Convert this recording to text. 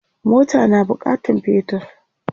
mota na bukatan petir